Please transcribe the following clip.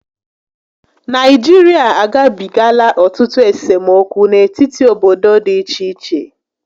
Nigeria agabigala otutu esomokwu n'etiti obodo dị iche iche